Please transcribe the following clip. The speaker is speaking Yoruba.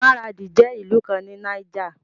Maradi jẹ́ ìlú kan ní Niger.